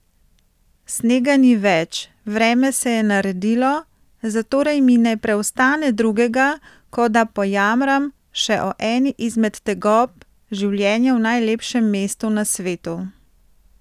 Snega ni več, vreme se je naredilo, zatorej mi ne preostane drugega, kot da pojamram še o eni izmed tegob življenja v najlepšem mestu na svetu.